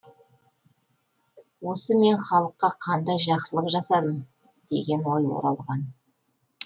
осы мен халыққа қандай жақсылық жасадым деген ой оралған